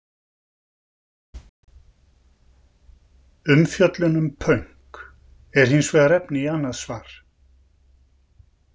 Umfjöllun um pönk er hins vegar efni í annað svar!